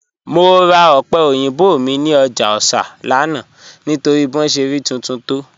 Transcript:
Mọ̀ rà òpẹ̀ oyinbọ̀ mi ni ọ́jà Òṣà lánà nítorí bí wọn ṣẹ̀ rí tuntun tó